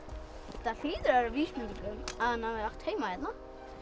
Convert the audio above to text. þetta hlýtur að vera vísbending um að hann hafi átt heima hérna